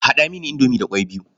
Haɗa mini indomi da ƙwai biyu.